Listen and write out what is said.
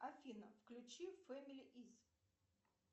афина включи фэмили из